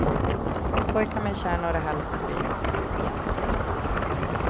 Pojkar med kärnor i halsen blir genast hjälpta.